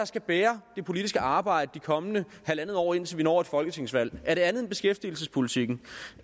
skal bære det politiske arbejde det kommende halvandet år indtil vi når et folketingsvalg er det andet end beskæftigelsespolitikken